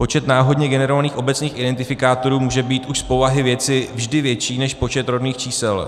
Počet náhodně generovaných obecných identifikátorů může být už z povahy věci vždy větší než počet rodných čísel.